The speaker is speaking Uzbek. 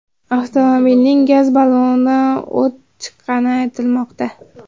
Avtomobilning gaz ballonidan o‘t chiqqani aytilmoqda.